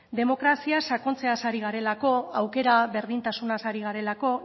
demokrazia sakontzeaz ari garelako aukera berdintasunaz ari garelako